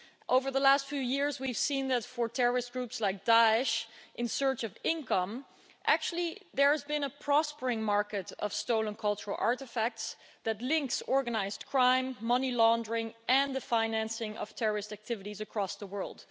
Over the last few years, we've seen that, for terrorist groups like Daesh in search of income, actually, there has been a prospering market of stolen cultural artefacts that links organised crime, money laundering and the financing of terrorist activities across the world.